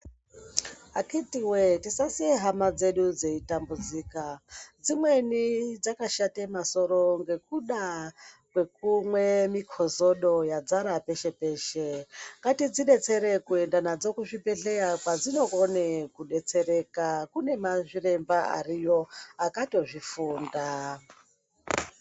Akitiwe tisasiye hama dzedu dzeitambudzika dzimweni dzakashate masoro ngekuda kwekumwe mikozodo yadzara peshe peshe ngatidzidetsere kuende nadzo kuzvibhedhleya kwadzinokone kudetsereka kune mazviremba ariyo akatozvifunda.